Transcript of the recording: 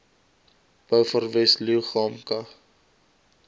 beaufort wes leeugamka